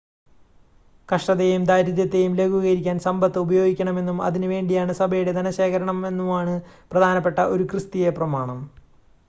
കഷ്ടതയേയും ദാരിദ്ര്യത്തേയും ലഘൂകരിക്കാൻ സമ്പത്ത് ഉപയോഗിക്കണമെന്നും അതിന് വേണ്ടിയാണ് സഭയുടെ ധനശേഖരമെന്നുമാണ് പ്രധാനപ്പെട്ട ഒരു ക്രിസ്‌തീയ പ്രമാണം